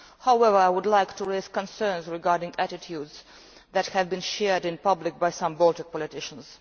However, I would like to raise concerns regarding attitudes that have been shared in public by some Baltic politicians.